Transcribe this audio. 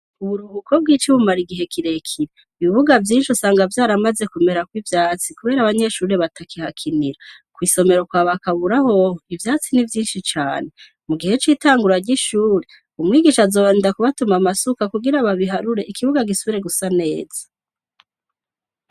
Uburuhuko bw'ici bumara igihe kirekire ibibuga vyinshi usanga vyaramaze kumerako ivyatsi, kubera abanyeshuriri batakihakinira kw'isomero kwa bakaburahoho ivyatsi n'ivyinshi cane mu gihe c'itangura ry'ishuri umwigisha azobanida kubatuma amasuka kugira babiharure ikibuga gisubre gusa neza.